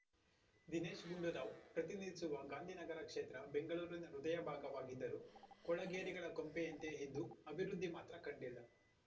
ದಿನೇಶ್‌ ಗುಂಡೂರಾವ್‌ ಪ್ರತಿನಿಧಿಸುವ ಗಾಂಧಿನಗರ ಕ್ಷೇತ್ರ ಬೆಂಗಳೂರಿನ ಹೃದಯ ಭಾಗವಾಗಿದ್ದರೂ ಕೊಳಗೇರಿಗಳ ಕೊಂಪೆಯಂತೆಯೇ ಇದ್ದು ಅಭಿವೃದ್ಧಿ ಮಾತ್ರ ಕಂಡಿಲ್ಲ